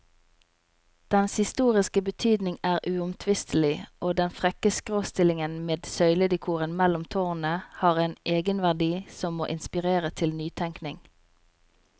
Dens historiske betydning er uomtvistelig, og den frekke skråstillingen med søyledekoren mellom tårnene har en egenverdi som må inspirere til nytenkning.